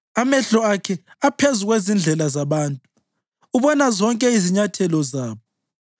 Amehlo akhe aphezu kwezindlela zabantu; ubona zonke izinyathelo zabo.